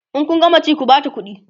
in Kun gama ci ku Bata ƙuɗi